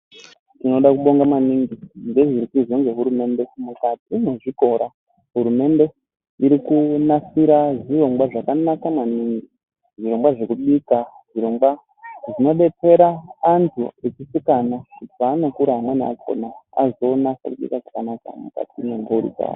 Tinoda kubonga maningi, ngezviri kuizwa ngehurumende mukati nwezvikora ,hurumende iri kunasira zvirongwa zvakanaka maningi ,zvirongwa zvekubika, zvirongwa zvinodetsera anthu echisikana ,kuti peanokura amweni akhona ,azoonasa kubika zvakanaka mukati mwemphuri dzawo.